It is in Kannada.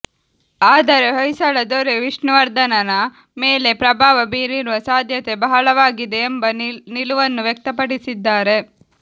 ಆದರೆ ಹೊಯ್ಸಳದೊರೆ ವಿಷ್ಣುವರ್ಧನನ ಮೇಲೆ ಪ್ರಭಾವ ಬೀರಿರುವ ಸಾಧ್ಯತೆ ಬಹಳವಾಗಿದೆ ಎಂಬ ನಿಲುವನ್ನು ವ್ಯಕ್ತಪಡಿಸಿ ದ್ದಾರೆ